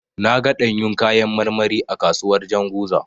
Na ga ɗanyun kayan marmari a kasuwar Janzuga.